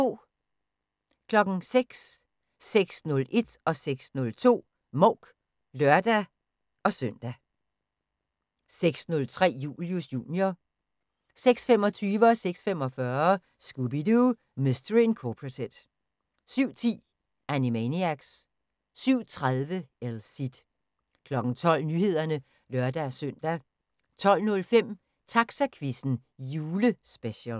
06:00: Mouk (lør-søn) 06:01: Mouk (lør-søn) 06:02: Mouk (lør-søn) 06:03: Julius Jr. 06:25: Scooby-Doo! Mystery Incorporated 06:45: Scooby-Doo! Mystery Incorporated 07:10: Animaniacs 07:30: El Cid 12:00: Nyhederne (lør-søn) 12:05: Taxaquizzen – julespecial